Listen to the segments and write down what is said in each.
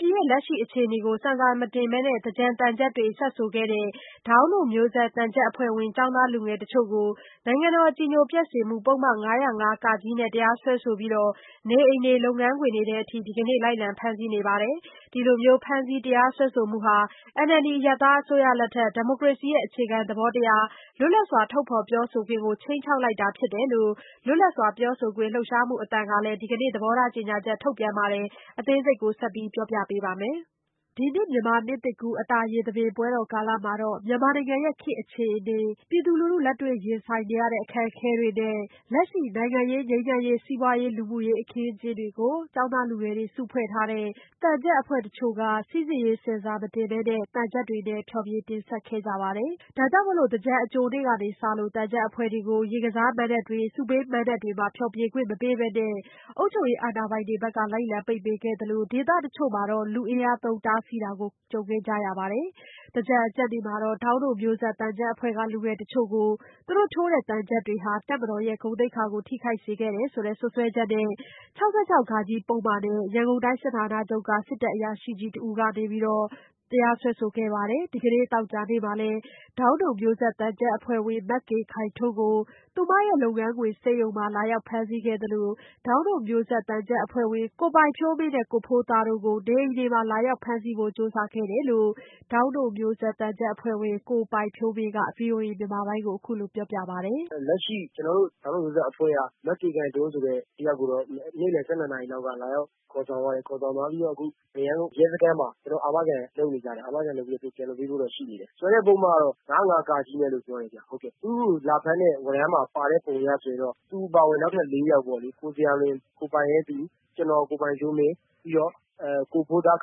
ပြည်ရဲ့ လက်ရှိအခြေအနေ ကိုဆင်ဆာမတင်ပဲ သင်္ကြန်သံချပ်တွေ စပ်ဆိုခဲ့တဲ့ ဒေါင်းတို့မျိုးဆက် သံချပ်အဖွဲ့ဝင် ကျောင်းသားလူငယ်တချို့ကို နိုင်ငံတော်အကြည်ညိုပျက်စေမှုပုဒ်မ ၅၀၅ ကနဲ့ တရားစွဲဆိုပြီး နေအိမ်တွေ လုပ်ငန်းခွင်တွေထဲအထိ ဒီကနေ့ လိုက်လံဖမ်းဆီးနေပါတယ်။ ဒီလိုဖမ်းဆီး တရားစွဲဆိုမှုတွေဟာ NLD အရပ်သားအစိုးရလက်ထက် ဒီမိုကရေစီရဲ့ အခြေခံသဘောတရား လွတ်လပ်စွာ ထုတ်ဖော်ပြောဆိုခွင့်ကို ခြိမ်းခြောက်နေတာဖြစ်တယ်လို့ လွတ်လပ်စွာပြောဆိုခွင့် လှုပ်ရှားမှုအသံကလည်း ဒီကနေ့ ကြေညာချက်ထုတ်ပြန်ပါတယ်။ မဆုမွန် ဆက်သွယ်မေးမြန်းထားပါတယ်။ ဒီနှစ်မြန်မာနှစ်သစ်ကူး အတာရေသဘင်ပွဲတော်ကာလမှာ မြန်မာနိုင်ငံရဲ့ ခေတ်အခြေအနေ ပြည်သူလူထု လက်တွေ့ရင်ဆိုင်နေရတဲ့ အခက်အခဲတွေနဲ့ လက်ရှိနိုင်ငံရေး ငြိမ်းချမ်းရေး၊ စီးပွားရေး၊ လူမှုရေး အခင်းအကျင်းတွေကို ကျောင်းသားလူငယ်တွေ စုဖွဲ့ထားတဲ့ သံချပ်အဖွဲ့တချို့ဟာ စိစစ်ရေးဆင်ဆာမတင်ပဲ သံချပ်တွေနဲ့ ဖျော်ဖြေတင်ဆက်ခဲ့ကြပါတယ်။ ဒါကြောင့် သင်္ကြန်အကြိုနေ့ကစလို့ သံချပ်အဖွဲ့တွေကို ရေကစားမဏ္ဍပ်တွေ၊ ဆုပေးမဏ္ဍပ်တွေမှာ ဖျော်ဖြေခွင့်မပေးပဲ အုပ်ချုပ်ရေး အာဏာပိုင်တွေဘက်က လိုက်လံပိတ်ပင်ခဲ့သလို ဒေသတချို့မှာတော့ လူအင်အားသုံးတားဆီးခဲ့တာကို ကြုံခဲ့ရပါတယ်။ သင်္ကြန်အကျနေ့မှာတော့ ဒေါင်းတို့မျိုးဆက်သံချပ်အဖွဲ့က လူငယ်တချို့ကို သူတို့ထိုးတဲ့သံချပ်တွေဟာ တပ်မတော်ကို ဂုဏ်သိက္ခာ ထိခိုက်စေခဲ့တယ်ဆိုတဲ့ စွပ်စွဲချက်နဲ့ ၆၆ ဃ ပုဒ်မနဲ့ ရန်ကုန်တိုင်း စစ်ဌာနချုပ်က စစ်တပ်အရာရှိ တဦးကနေ တရားစွဲဆိုလိုက်ပါတယ်။ ဒီကနေ့ သောကြာနေ့မှာလည်း ဒေါင်းတို့မျိုးဆက်သံချပ်အဖွဲ့ဝင် မကေခိုင်ထွန်းကို သူမလုပ်ငန်းခွင် ဆေးရုံမှာ လာရောက်ဖမ်းဆီးခဲ့သလို ဒေါင်းတို့မျိုးဆက်သံချပ်အဖွဲ့ဝင် ကိုပိုင်ဖြိုးမင်းနဲ့ ကိုဖိုးသားတို့ကိုလည်း နေအိမ်တွေမှာ လာရောက်ဖမ်းဆီးဖို့ ကြိုးစားခဲ့တယ်လို့ ဒေါင်းတို့မျိုးဆက်သံချပ်အဖွဲ့ဝင် ကိုပိုင်ဖြိုးမင်းက ဗွီအိုအေမြန်မာပိုင်းကို အခုလိုပြောပါတယ်။ "လက်ရှိ ကျနော်တို့ ဒေါင်းတို့မျိုးဆက်အဖွဲ့က မကေခိုင်ထွန်းဆိုတဲ့ တယောက်ကိုတော့ နေ့လည် ၁၂ နာရီလောက်က လာရောက်ခေါ်ဆောင်သွားတယ်။ ခေါ်ဆောင်သွားပြီးတော့ အခု မရမ်းကုန်းရဲစခန်းမှာ ကျနော်တို့ အာမခံလုပ်နေကြတယ်။ အာမခံလုပ်ပြီးတော့ သူတို့ ပြန်လွှတ်ပေးဖို့တော့ ရှိနေတယ်။ စွဲချက်ပုဒ်မကတော့ ၅၀၅ နဲ့လို့ ပြောတယ်ခင်ဗျ။ သူကို လာဖမ်းတဲ့ ဝရမ်းမှာပါတဲ့ပုံအရဆိုရင်တော့ သူအပါအဝင် နောက်ထပ် ၄ ယောက်ပေါ့လေ.... ကိုဇေယျာလွင်၊ ကိုပိုင်ရဲသူ၊ ကျနေ်ာ ကိုပိုင်ဖြိုးမင်း၊ ကိုဖိုးသား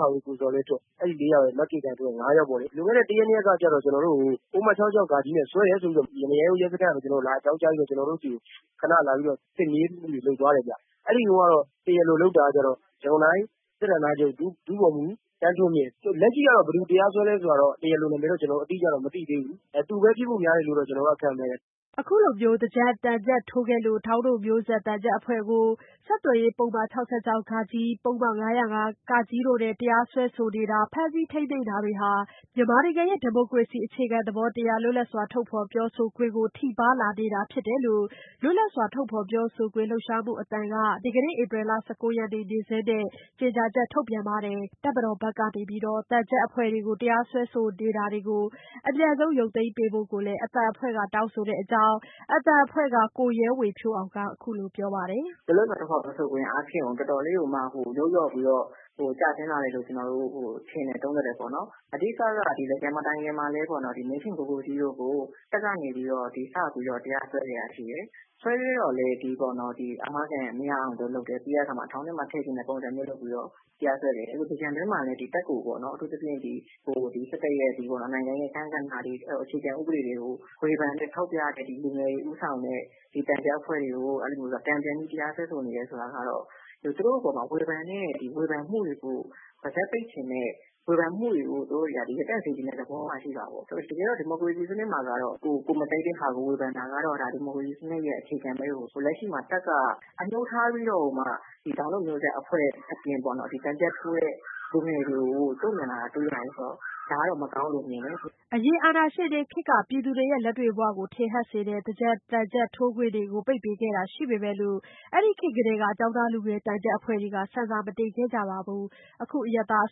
ကိုဇော်လင်းထွဋ် အဲ့ဒီ ၄ ယောက်ရယ် မကေခိုင်ထွန်းရယ်.. ၅ ယောက်ပေါ့လေ။ လွန်ခဲ့တဲ့ ၁ ရက် ၂ ရက်ကကျတော့ ကျနော်တို့ကို ပုဒ်မ ၆၆ဃ နဲ့ စွဲတယ်ဆိုပြီးတော့ မရမ်းကုန်းရဲစခန်းကနေ အကြောင်းကြားပြီးတော့ ကျနော်တို့ဆီကို ခဏလာပြီးတော့ စစ်မေးမှုတွေ လုပ်သွားတယ်ဗျ။ အဲ့ဒီတုန်းကတော့ တရားလိုလုပ်တာကျတော့ ရန်ကုန်တိုင်း စစ်ဌာနချုပ် ဒု ဗိုလ်မှူး ဦးသန်းထွန်းမြင့်။ လက်ရှိကတော့ ဘယ်သူတရားစွဲလဲဆိုတာတော့ တရားလိုနာမည်တော့ အတိအကျတော့ ကျနော်တို့ မသိသေးဘူး။ သူပဲ ဖြစ်ဖို့များတယ်လို့တော့ ကျနော်တော့ ခန့်မှန်းတယ်။" အခုလိုမျိုး သင်္ကြန်သံချပ်ထိုးခဲ့တဲ့အတွက် ဒေါင်းတို့မျိုးဆက်သံချပ်အဖွဲ့ကို ပုဒ်မ ၅၀၅ ဆက်သွယ်ရေးပုဒ်မ ၆၆ဃ တို့နဲ့ တရားစွဲဆိုတာ ဖမ်းဆီးထိန်းသိမ်းမှုတွေ လုပ်နေတာဟာ မြန်မာနိုင်ငံရဲ့ ဒီမိုကရေစီအခြေခံသဘောတရား လွတ်လပ်စွာ ထုတ်ဖော်ပြောဆိုခွင့်ကို ထိပါးလာနေတာဖြစ်တယ်လို့ လွတ်လပ်စွာထုတ်ဖော်ပြောခွင့်လှုပ်ရှားမှုအဖွဲ့ အသံက ဧပြီလ ၁၉ရက်နေ့ နေ့စွဲနဲ့ ကြေညာချက်ထုတ်ပါတယ်။ တပ်မတော်ဘက်က သံချပ်အဖွဲ့တွေကို တရားစွဲဆိုမှုတွေကို အမြန်ဆုံးရုပ်ပေးပေးဖို့ကိုလည်း အသံအဖွဲ့က တောင်းဆိုတဲ့အကြောင်း အသံအဖွဲ့က ကိုရဲဝေဖြိုးမောင်က ပြောပါတယ်။ "လွတ်လပ်စွာထုတ်ဖော်ပြောဆိုခွင့်အားဖြင့်ကို တော်တော်လေးကိုမှ ယုတ်လျော့ပြီးတော့ ကျဆင်းလာတယ်လို့ ကျနော်တို့ထင်တယ်၊ သုံးသပ်တယ်ပေါ့နော်။ အဓိကကတော့ သင်္ကြန်မတိုင်ခင်မှာလည်း မင်းထင်ကိုကိုကြီးတို့ကို တပ်ကနေပြီးတော့ ဒီ စပြီးတော့ တရားစွဲခဲ့တာရှိတယ်။ စွဲခဲ့တော့လည်း အာမခံမရအောင်လို့လုပ်တယ်။ ပြီးတဲ့အခါမှာ ထောင်ထဲမှာထည့်ချင်တဲ့ ပုံစံမျိုးလုပ်ပြီးတော့ တရားစွဲခဲ့တယ်။ အဲ့လို သင်္ကြန်အတွင်းမှာ တပ်ကိုပေါ့နော်... အထူးသဖြင့် ဒီ နိုင်ငံအခန်းကဏ္ဍတွေ၊ အခြေခံဥပဒေတွေကို ဝေဖန်ထောက်ပြတဲ့ လူငယ်တွေဦးဆောင်တဲ့ ဒေသတ္တရ အဖွဲ့တွေကို တန်ပြန်ပြီး တရားစွဲဆိုနေတယ်ဆိုတာကတော့ သူတို့အပေါ်မှာ ဝေဖန်တဲ့ ဒီဝေဖန်မှုတွေကို ပါးစပ်ပိတ်ချင်တဲ့ ဝေဖန်မှုတွေကို သူတို့တွေက ရပ်တန့်စေချင်တဲ့ သဘောမှာ ရှိတာပေါ့။ တကယ်တော့ ဒီမိုကရေစီစနစ်မှာကတော့ ကိုယ်မကြိုက်တဲ့ဟာကို ဝေဖန်တာကတော့ ဒီမိုကရေစီစနစ်ရဲ့ အခြေခံပဲကို။ လက်ရှိမှာ တပ်က အငြိုးထားပြီးတော့ကိုမှ ဒီဒေါင်းတို့မျိုးဆက်အဖွဲ့အပြင်ပေါ့နော် ဒီသံချပ်ထိုးတဲ့ လူငယ်တွေကို တုံ့ပြန်လာတာ တွေ့ရတယ်ဆိုတော့ ဒါကတော့ မကောင်းဘူးလို့ မြင်တယ်။" အရင် အာဏာရှင်တွေခေတ်က ပြည်သူတွေရဲ့ လက်တွေ့ဘဝတွေကို ထင်ဟပ်တဲ့ သင်္ကြန်သံချပ်ထိုးခွင့် ပိတ်ပင်ခံခဲ့ရတာတွေ ရှိခဲ့ပေမဲ့ အဲ့ဒီ့ခေတ်ကတည်းက ကျောင်းသားလူငယ်သံချပ်အဖွဲ့တွေဟာ ဆင်ဆာမတင်ခဲ့ကြသလို အခု အရပ်သားအ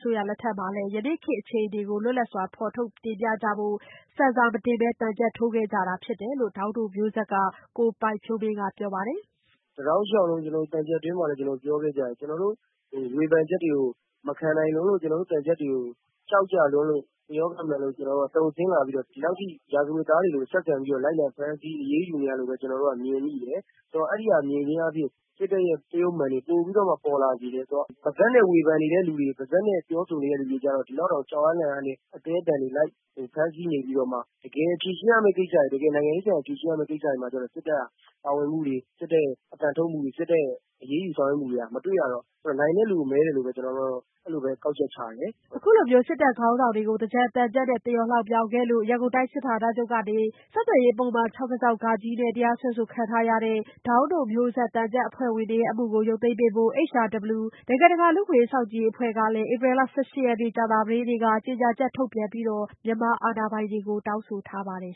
စိုးရလက်ထက်မှာလည်း ယနေ့ခေတ်အခြေအနေကို လွတ်လပ်စွာ ဖော်ထုတ်တင်ပြကြဖို့ ဆင်ဆာမတင်ပဲ သံချပ်ထိုးခဲ့ကြတယ်လို့ ဒေါင်းတို့မျိုးဆက် က ကိုပိုင်ဖြိုးမင်းကပြောပါတယ်။ "ကျနော်တို့ တောက်လျှောက်လုံး ကျနော်တို့ သံချပ်အတွင်းမှာလည်း ပြောခဲ့ကြတယ်။ ကျနော်တို့ ဝေဖန်ချက်တွေကို မခံနိုင်လို့၊ ကျနော်တို့ သံချပ်တွေကို ကြောက်ကြလွန်းလို့ ဒီလောက်ထိ ရာဇဝတ်သားတွေလို ဆက်ဆံပြီးတော့ လိုက်လံဖမ်းဆီး အရေးယူနေကြတယ်လို့ပဲ ကျနော်တို့က မြင်မိတယ်။ အဲ့ဒီလိုမြင်ခြင်းအားဖြင့် စစ်တပ်ရဲ့ သရုပ်အမှန်ပိုပြီးတော့မှ ပေါ်လာစေတယ်ဆိုတော့ ပါးစပ်နဲ့ ဝေဖန်နေတဲ့သူတွေ၊ ပါးစပ်နဲ့ ပြောဆိုနေတဲ့သူတွေကျတော့ ဒီလောက်တောင် ကြောက်အားလန့်အားနဲ့ အသည်းအသန်တွေ လိုက်ဖမ်းဆီးနေပြီးတော့မှ တကယ်ဖြေရှင်းရမဲ့ ကိစ္စတွေ၊ တကယ်နိုင်ငံရေးဆန်ဆန် ဖြေရှင်းရမဲ့ကိစ္စတွေမှာကျတော့ စစ်တပ်က ပါဝင်မှုတွေ၊ စစ်တပ်ရဲ့ အသံထုတ်မှုတွေ၊ စစ်တပ်ရဲ့ အရေးယူဆောင်ရွက်မှုတွေ မတွေ့ရတော့ နိုင်တဲ့လူကို မဲတယ်လို့ပဲ ကျနော်တိုက အဲ့လိုပဲ ကောက်ချက်ချတယ်။" အခုလိုစစ်တပ် ခေါင်းဆောင်တွေကို သင်္ကြန်သံချပ်နဲ့ သရော်လှောင်ပြောင်ခဲ့လို့ ရန်ကုန်တိုင်းစစ်ဌာနချုပ်ကနေ ဆက်သွယ်ရေးပုဒ်မ ၆၆ နဲ့ တရားစွဲဆိုခံထားရတဲ့ ဒေါင်းမျိုးဆက် သံချပ်အဖွဲ့ဝင်တွေရဲ့ အမှုကို ရုပ်သိမ်းပေးဖို့ HRW လူ့အခွင့်အရေး စောင့်ကြည့်အဖွဲ့ကလည်း ဧပြီ ၁၈ ရက် ကြာသပတေးနေ့က ကြေညာချက် ထုတ်ပြန်ပြီး မြန်မာအာဏာပိုင်တွေကို တောင်းဆိုထားပါတယ်